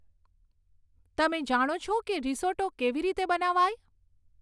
તમે જાણો છો કે રીસોટ્ટો કેવી રીતે બનાવાય